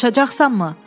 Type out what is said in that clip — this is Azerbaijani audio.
Danışacaqsanmı?